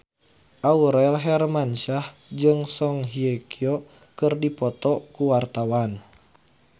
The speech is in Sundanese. Aurel Hermansyah jeung Song Hye Kyo keur dipoto ku wartawan